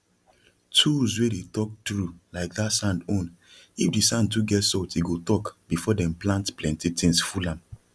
tools wey dey talk true like that sand ownif the sand too get salt e go talk before dem plant things full am